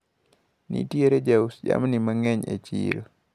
Nitiere jous jamni mang`eny e chiro.